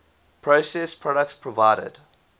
processed products provided